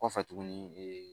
Kɔfɛ tuguni ee